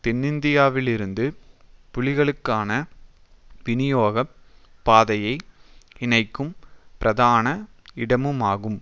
தென்னிந்தியாவிலிருந்து புலிகளுக்கான விநியோக பாதையை இணைக்கும் பிரதான இடமுமாகும்